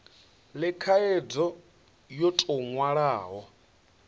le khaidzo yo tou nwalwaho